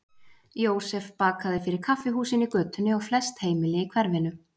Jósef bakaði fyrir kaffihúsin í götunni og flest heimili í hverfinu.